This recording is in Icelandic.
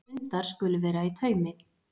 Hundar skulu vera í taumi